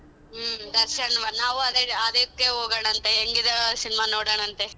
ಹ್ಮ್ ದರ್ಶನ್ ನಾವು ಅದೇ ಅದಿಕ್ಕೆ ಹೋಗೋಣ ಅಂತ ಹೆಂಗಿದೆ ಆ ಸಿನಿಮಾ ನೋಡೋಣ ಅಂತೆ.